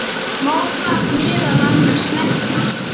Má þar meðal annars nefna